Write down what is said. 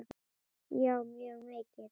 Já mjög mikið.